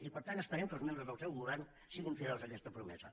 i per tant esperem que els membres del seu govern siguin fidels a aquesta promesa